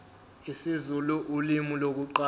isizulu ulimi lokuqala